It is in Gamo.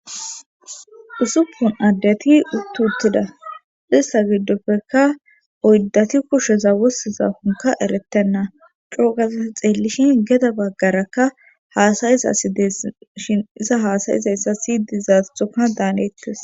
Usuppun addeti uttu uttida ista giddopfekka oyddati kusheza wossizafonka erettenna coogazea xeellishin geda baggarakka haasayizasides shin iza haasayizayssa siydizasdoka daanettes.